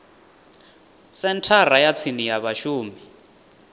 senthara ya tsini ya vhashumi